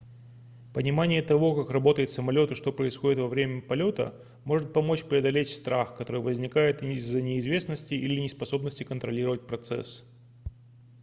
понимание того как работает самолет и что происходит во время полета может помочь преодолеть страх который возникает из-за неизвестности или неспособности контролировать процесс